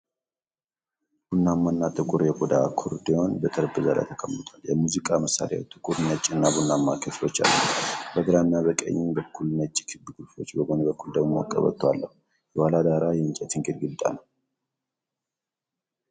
ቡናማና ጥቁር የቆዳ አኮርዲዮን በጠረጴዛ ላይ ተቀምጧል። የሙዚቃ መሣሪያው ጥቁር፣ ነጭና ቡናማ ክፍሎች አሉት። በግራና ቀኝ በኩል ነጭ ክብ ቁልፎች በጎን በኩል ደግሞ ቀበቶ አለው። የኋላ ዳራ የእንጨት ግድግዳ ነው።